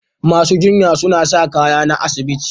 Masu jinya suna sa kaya na asibiti.